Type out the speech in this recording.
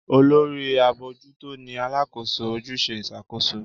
Olórí abojuto ní Alákóso ojúṣe Ìṣàkóso